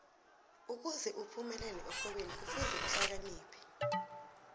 ukuze uphumelele ekghwebeni kufuze uhlakaniphe